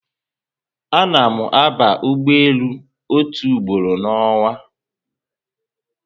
Ana mụ aba ụgbọelu otu ugboro na onwa